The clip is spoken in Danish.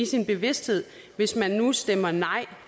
sin bevidsthed hvis man nu stemmer nej